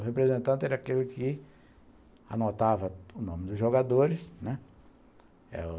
O representante era aquele que anotava o nome dos jogadores, né?